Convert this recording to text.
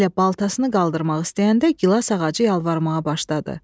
Elə baltasını qaldırmaq istəyəndə gilaz ağacı yalvarmağa başladı.